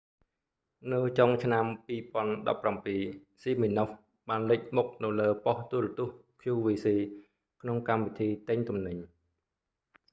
នៅចុងឆ្នាំ2017 siminoff បានលេចមុខនៅលើបុស្តិ៍ទូរទស្សន៍ qvc ក្នុងកម្មវិធីទិញទំនិញ